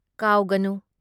ꯀꯥꯎꯒꯅꯨ꯫